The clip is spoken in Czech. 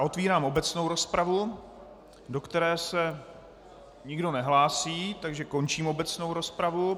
A otevírám obecnou rozpravu, do které se nikdo nehlásí, takže končím obecnou rozpravu.